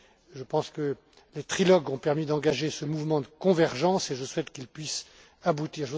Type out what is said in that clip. Je pense que les trilogues ont permis d'engager ce mouvement de convergence et je souhaite qu'il puisse aboutir.